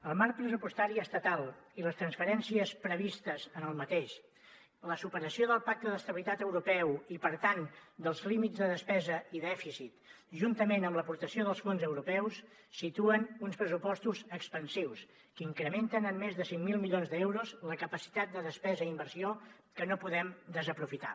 el marc pressupostari estatal i les transferències previstes en aquest la superació del pacte d’estabilitat europeu i per tant dels límits de despesa i dèficit juntament amb l’aportació dels fons europeus situen uns pressupostos expansius que incrementen en més de cinc mil milions d’euros la capacitat de despesa i inversió que no podem desaprofitar